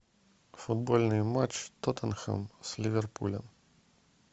футбольный матч тоттенхэм с ливерпулем